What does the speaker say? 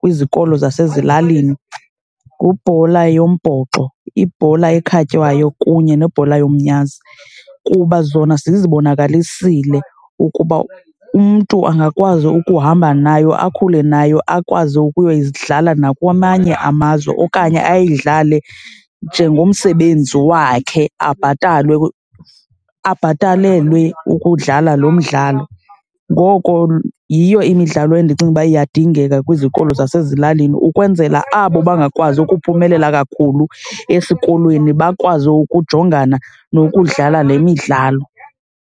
kwizikolo zasezilalini ngubhola yombhoxo, ibhola ekhatywayo kunye nebhola yomnyazi kuba zona zizibonakalisile ukuba umntu angakwazi ukuhamba nayo, akhule nayo akwazi ukuyoyidlala nakwamanye amazwe. Okanye ayidlale njengomsebenzi wakhe abhatalwe, abhatalelwe ukudlala lo mdlalo. Ngoko yiyo imidlalo endicinga ukuba iyadingeka kwizikolo zasezilalini ukwenzela abo bangakwazi ukuphumelela kakhulu esikolweni bakwazi ukujongana nokudlala le midlalo.